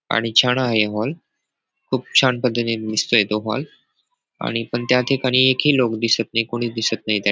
आणि छान आहे हा मॉल खूप छान पद्धतीने दिसतोय तो मॉल आणि पण त्या ठिकाणी एकही लोक दिसत नाही कोणी दिसत नाही त्या --